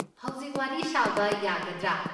ꯍꯧꯖꯤꯛ ꯋꯥꯔꯤ ꯁꯥꯕ ꯌꯥꯒꯗ꯭ꯔꯥ?